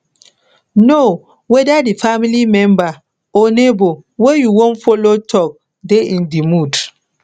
know whether di family member or neighbour wey you won follow talk de in di mood